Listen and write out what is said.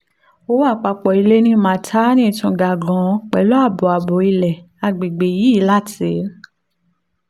owó àpapọ̀ ilẹ̀ ní maitama tún ga gan-an pẹ̀lú ààbọ̀ ààbọ̀ ilẹ̀ ní àgbègbè yìí láti